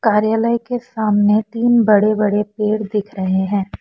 कार्यालय के सामने तीन बड़े बड़े पेड़ दिख रहे हैं।